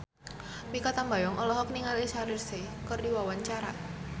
Mikha Tambayong olohok ningali Shaheer Sheikh keur diwawancara